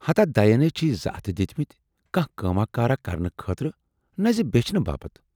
ہتا دَین ہے چھِی زٕ اتھٕ دِتۍمِتۍ کانہہ کٲما کارا کرنہٕ خٲطرٕ نہَ زِ بیچھنہِ باپتھ۔